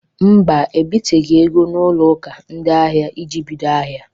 Mba, ebiteghi ego n'ụlọ akụ ndị ahịa iji bido ahịa.